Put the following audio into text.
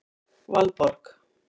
Valborg